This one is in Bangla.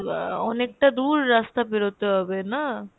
আহ অনেকটা দূর রাস্তা বেরোতে হবে না?